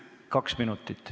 Kaks minutit.